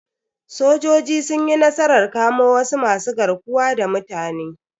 Sojoji sun yi nasarar kamo wasu masu garkuwa da mutane.